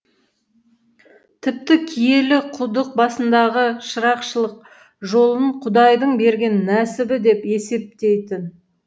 тіпті киелі құдық басындағы шырақшылық жолын құдайдың берген нәсібі деп есептейтін